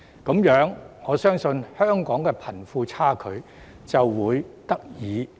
如是者，我相信香港的貧富差距便可以得以縮減。